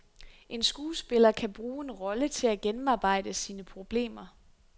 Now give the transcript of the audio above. En skuespiller kan bruge en rolle til at gennemarbejde sine problemer.